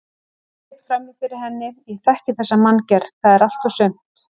Hann greip fram í fyrir henni: Ég þekki þessa manngerð, það er allt og sumt